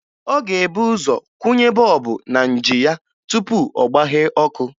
Ọ ga-ebu ụzọ kwụnye bọọbụ na nji ya tupu ọ gbaghee ọkụ